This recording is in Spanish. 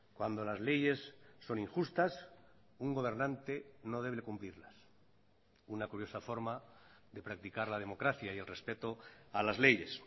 cuando las leyes son injustas un gobernante no debe cumplirlas una curiosa forma de practicar la democracia y el respeto a las leyes